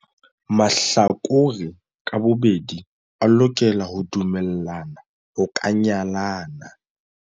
Mahlakore ka bobedi a lokela ho dumellana ho ka nyalana.